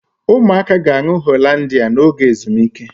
Ụmụaka ga-aṅụ Hollandia n'oge ezumike